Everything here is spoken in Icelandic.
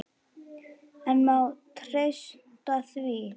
En má treysta því?